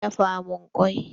Zo ka dafa min kwai!